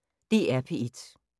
DR P1